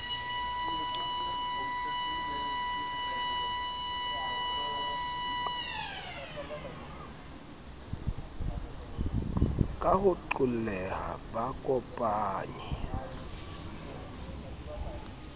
ka ho qolleha ba kopanye